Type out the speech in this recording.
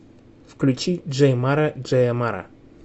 включи джей мара джея мара